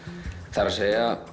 það er